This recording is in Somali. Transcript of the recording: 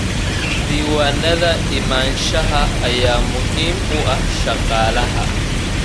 Diiwaanada imaanshaha ayaa muhiim u ah shaqaalaha.